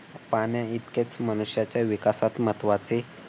पाण्या इतकेच मनुष्याच्या विकासात महत्वाचे.